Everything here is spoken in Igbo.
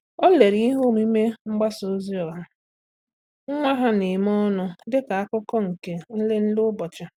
Há lérè ihe omume mgbasa ozi ọha nwa ha nà-ème ọnụ dịka ákụ́kụ́ nke nlele ụ́bọ̀chị̀.